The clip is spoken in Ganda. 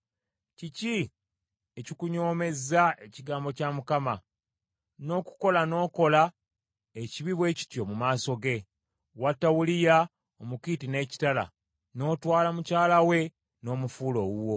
Kiki ekikunyoomezza ekigambo kya Mukama , n’okukola n’okola ekibi bwe kityo mu maaso ge? Watta Uliya Omukiiti n’ekitala, n’otwala mukyala we n’omufuula owuwo.’